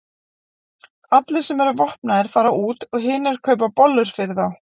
Allir sem eru vopnaðir fara út og hinir kaupa bollur fyrir þá.